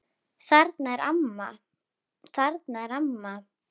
Þarna er amma!